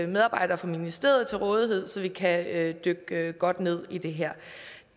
medarbejdere fra ministeriet til rådighed så vi kan dykke godt ned i det her